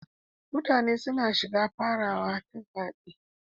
Mutane suna shiga farawa ta zaɓi.